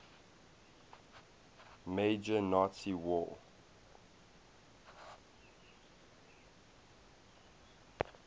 major nazi war